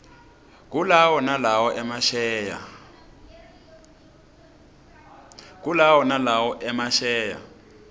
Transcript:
kulawo nalowo emasheya